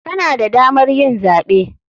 Kana da damar yin zaɓe.